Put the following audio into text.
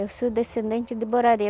Eu sou descendente de Borari.